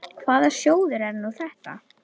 Hvaða sjóður er nú þetta?